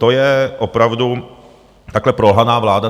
To je opravdu takhle prolhaná vláda.